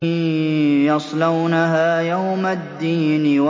يَصْلَوْنَهَا يَوْمَ الدِّينِ